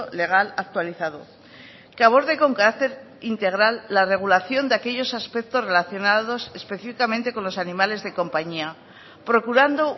legal actualizado que aborde con carácter integral la regulación de aquellos aspectos relacionados específicamente con los animales de compañía procurando